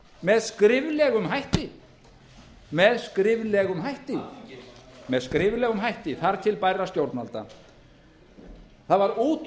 með fréttatilkynningum ekki með niðurstöðum funda heldur með skriflegum hætti þar til bærra stjórnvalda það var